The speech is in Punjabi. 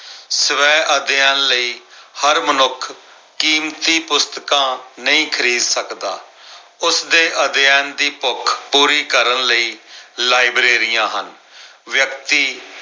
ਸਵੈ ਅਧਿਐਨ ਲਈ ਹਰ ਮਨੁੱਖ ਕੀਮਤੀ ਪੁਸਤਕਾਂ ਨਹੀਂ ਖਰੀਦ ਸਕਦਾ। ਉਸਦੇ ਅਧਿਐਨ ਦੀ ਭੁੱਖ ਪੂਰੀ ਕਰਨ ਲਈ ਲਾਇਬ੍ਰੇਰੀਆਂ ਹਨ। ਵਿਅਕਤੀ